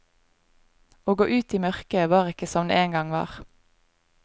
Å gå ut i mørket var ikke som det en gang var.